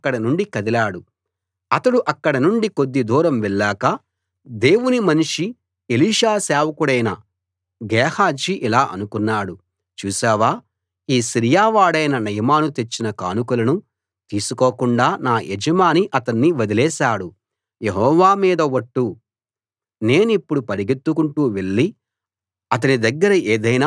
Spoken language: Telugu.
అతడు అక్కడ నుండి కొద్ది దూరం వెళ్ళాక దేవుని మనిషి ఎలీషా సేవకుడైన గేహజీ ఇలా అనుకున్నాడు చూశావా ఈ సిరియా వాడైన నయమాను తెచ్చిన కానుకలను తీసుకోకుండా నా యజమాని అతణ్ణి వదిలేశాడు యెహోవా మీద ఒట్టు నేనిప్పుడు పరుగెత్తుకుంటూ వెళ్ళి అతని దగ్గర ఏదైనా తీసుకుంటాను